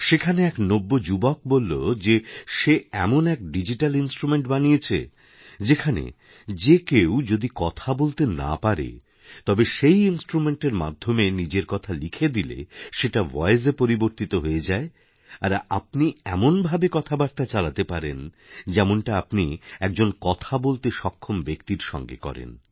সেখানে এক নব্য যুবক বলল যে সে এমন এক ডিজিটাল ইনস্ট্রুমেণ্টবানিয়েছে যেখানে যে কেউ যদি কথা বলতে না পারে তবে সেই ইনস্ট্রুমেণ্টের মাধ্যমেনিজের কথা লিখে দিলে সেটা ভয়েসে পরিবর্তিত হয়ে যায় আর আপনি এমনভাবে কথাবার্তাচালাতে পারেন যেমনটা আপনি একজন কথা বলতে সক্ষম ব্যক্তির সঙ্গে করেন